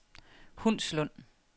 Hundslund